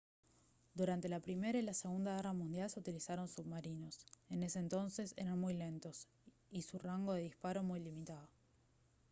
durante la primera y la segunda guerra mundial se utilizaron submarinos en ese entonces eran muy lentos y su rango de disparo muy limitado